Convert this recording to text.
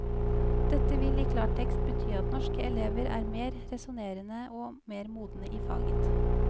Dette vil i klartekst bety at norske elever er mer resonnerende og mer modne i faget.